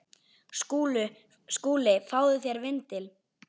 SKÚLI: Fáðu þér vindil.